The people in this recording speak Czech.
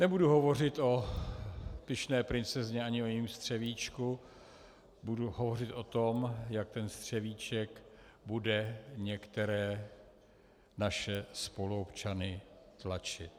Nebudu hovořit o pyšné princezně, ani o jejím střevíčku, budu hovořit o tom, jak ten střevíček bude některé naše spoluobčany tlačit.